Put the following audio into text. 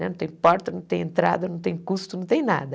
Não tem porta, não tem entrada, não tem custo, não tem nada.